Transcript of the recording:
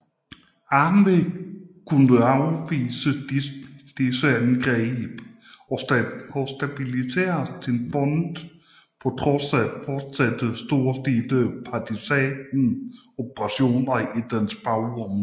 Armée kunne afvise disse angreb og stabilisere sin front på trods af fortsatte storstilede partisan operationer i dens bagområder